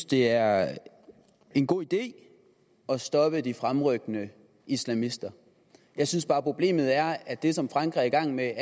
det er en god idé at stoppe de fremrykkende islamister jeg synes bare at problemet er at det som frankrig er i gang med